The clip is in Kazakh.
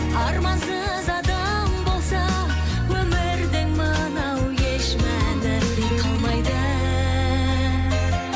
армансыз адам болса өмірдің мынау еш мәні қалмайды